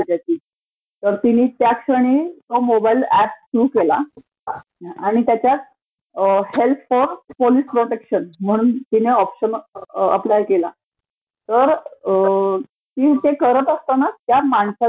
मग त्याच क्षणी तिने मोबाइल ऍप सुरू केला. आणि त्याच्यात हेल्प पोलिस प्रोटेक्शन म्हणून तिने ऑप्शन अप्लाय केला. तर ती ते करत असताना, त्या माणसानी